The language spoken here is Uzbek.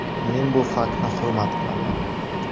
Men bu faktni hurmat qilaman.